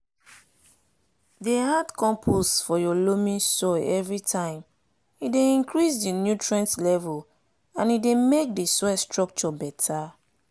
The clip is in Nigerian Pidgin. dey add compost for your loamy soil everytimee dey increase di nutrient level and e dey make di soil structure beta.